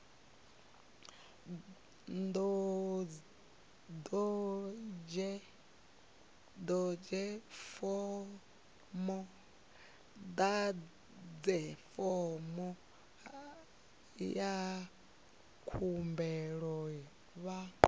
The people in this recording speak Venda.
ḓadze fomo ya khumbelo vha